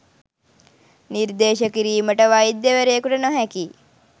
නිර්දේශ කිරීමට වෛද්‍යවරයකුට නොහැකි